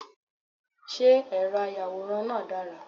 Ṣé ẹ̀rọ ayàwòrán náà dára.?